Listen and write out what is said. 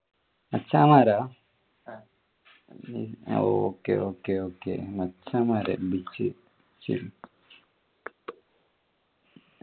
മച്ചാന്മാരോ okay okay okay മച്ചാന്മാര് ശരി